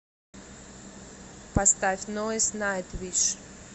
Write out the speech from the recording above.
поставь нойз найтвиш